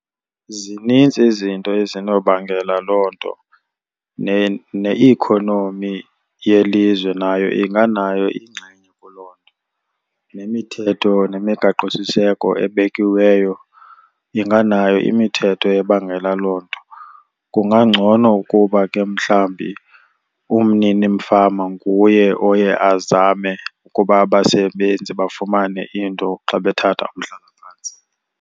Zinintsi izinto ezinobangela loo nto, ne-economy yelizwe nayo inganayo ingxenye kuloo nto, nemithetho nemigaqosiseko ebekiweyo inganayo imithetho ebangela loo nto. Kungangcono ukuba ke mhlawumbi umninifama nguye oye azame ukuba abasebenzi bafumane into xa bethatha umhlalaphantsi.